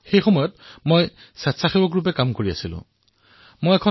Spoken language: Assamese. সেই সময়ত মই এক স্বেচ্ছাসেৱীৰ ৰূপত কাম কৰিছিল আৰু এখন গাঁৱলৈ গৈছিল